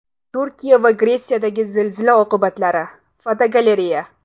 Turkiya va Gretsiyadagi zilzila oqibatlari (fotogalereya).